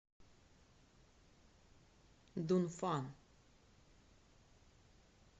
дунфан